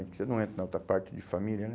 Você não entra na outra parte de família, né?